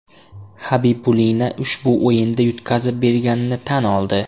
Xabibulina ushbu o‘yinda yutqazib berganini tan oldi.